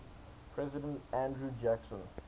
president andrew jackson